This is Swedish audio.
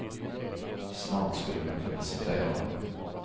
Snart skulle man kunna citera honom.